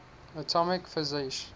atomic physics